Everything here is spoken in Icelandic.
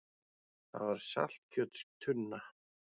Það var saltkjötstunna.